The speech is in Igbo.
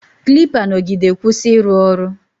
Klipa nọgide kwụsị ịrụ ọrụ